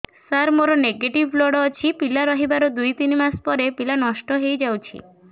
ସାର ମୋର negative blood ଅଛି ପିଲା ରହିବାର ଦୁଇ ତିନି ମାସ ପରେ ପିଲା ନଷ୍ଟ ହେଇ ଯାଉଛି